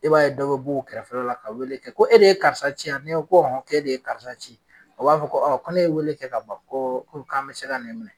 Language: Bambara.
E b'a ye dɔ be b'u kɛrɛfɛla la ka wele kɛ ko e de ye karisa ci a ni ye ko e de ye karisa ci a b'a fɔ ko ko ne ye wele kɛ ka ban ko u k'an be se ka n'e minɛ